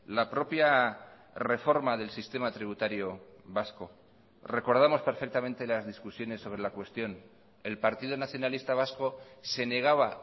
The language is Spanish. la propia reforma del sistema tributario vasco recordamos perfectamente las discusiones sobre la cuestión el partido nacionalista vasco se negaba